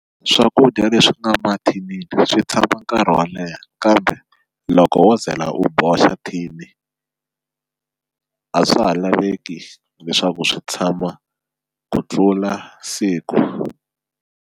Swakudya leswi nga mathinini swi tshama nkarhi wo leha kambe loko wo zela u boxa then a swa ha laveki leswaku swi tshama ku tlula siku.